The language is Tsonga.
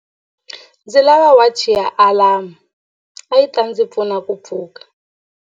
Ndzi lava wachi ya alamu yi ta ndzi pfuna ku pfuka.